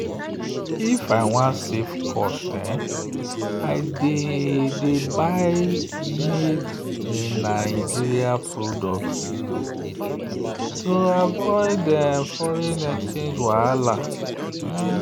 if i wan save cost i dey dey buy made-in-nigeria products to avoid foreign exchange wahala.